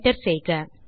enter செய்க